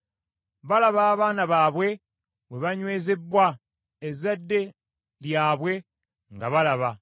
Balaba abaana baabwe bwe banywezebbwa, ezzadde lyabwe nga balaba.